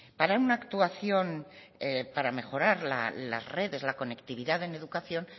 para una actuación para mejorar las redes la conectividad en educación